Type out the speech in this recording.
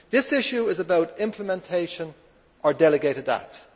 This issue is about implementation or delegated acts.